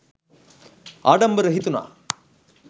ආඩම්බර හිතුණා.